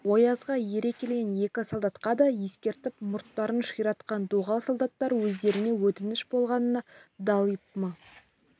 оязға ере келген екі солдатқа да ескертіп мұрттарын ширатқан доғал солдаттар өздеріне өтініш болғанына далиып мы